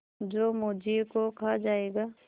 जो मुझी को खा जायगा